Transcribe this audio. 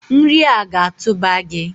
Nri a ga-atụba gi!